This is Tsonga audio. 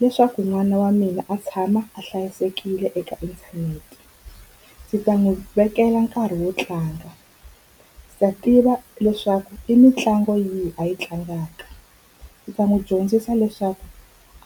Leswaku n'wana wa mina a tshama a hlayisekile eka inthanete, ndzi ta n'wi vekela nkarhi wo tlanga. Ndzi ta tiva leswaku i mitlangu yihi a yi tlangaka. Ndzi ta n'wi dyondzisa leswaku